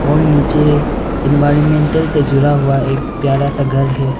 और नीचे इनवायलमैटल से जुडा हुआ एक प्यारा सा घर है।